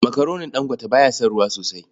Makaronin Dangote ba ya son ruwa sosai.